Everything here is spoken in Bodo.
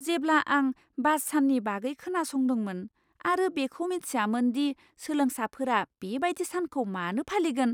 जेब्ला आं बास साननि बागै खोनासंदोंमोन आरो बेखौ मिथियामोन दि सोलोंसाफोरा बेबायदि सानखौ मानो फालिगोन।